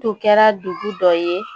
Tun kɛra dugu dɔ ye